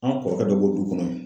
An kɔrɔkɛ dɔ b'o du kɔnɔ